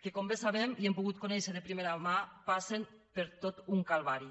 que com bé sabem i hem pogut conèixer de primera mà passen per tot un calvari